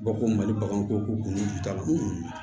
Ba ko mali bakan ko kun t'a la